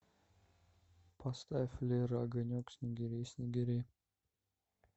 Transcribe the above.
поставь лера огонек снегири снегири